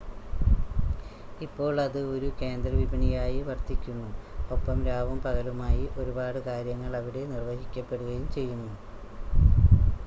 ഇപ്പോൾ അത് ഒരു കേന്ദ്ര വിപണിയായി വർത്തിക്കുന്നു, ഒപ്പം രാവും പകലുമായി ഒരുപാട് കാര്യങ്ങൾ അവിടെ നിർവ്വഹിക്കപ്പെടുകയും ചെയ്യുന്നു